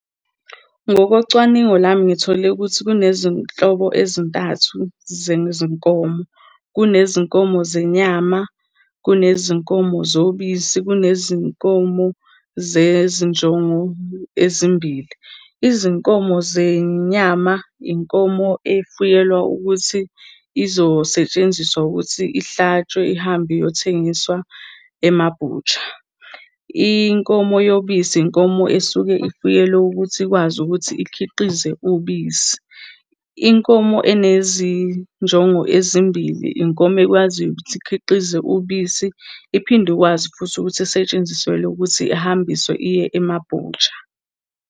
Ngokocwaningo lami ngithole ukuthi kunezinhlobo ezintathu zenkomo. Kunezinkomo zenyama, kunezinkomo zobisi, kunezinkomo zezinjongo ezimbili. Izinkomo zenyama, inkomo efuyelwa ukuthi izosetshenziswa ukuthi ihlatshwe ihambe iyothengiswa ema-butcher. Inkomo yobisi, inkomo esuke ifuyelwe ukuthi ikwazi ukuthi ikhiqize ubisi. Inkomo enezinjongo ezimbili, inkomo ekwaziyo ukuthi ikhiqize ubisi iphinde ikwazi futhi ukuthi isetshenziswele ukuthi ihambiswe iye ema-butcher.